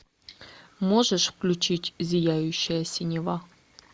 можешь включить зияющая синева